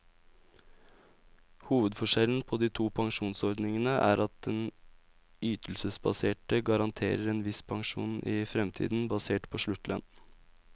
Hovedforskjellen på de to pensjonsordningene er at den ytelsesbaserte garanterer en viss pensjon i fremtiden, basert på sluttlønn.